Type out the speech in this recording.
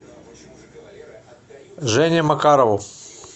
жене макарову